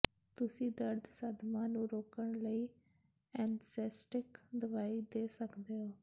ਤੁਸੀਂ ਦਰਦ ਸਦਮਾ ਨੂੰ ਰੋਕਣ ਲਈ ਐਨਸੈਸਟਿਕ ਦਵਾਈ ਦੇ ਸਕਦੇ ਹੋ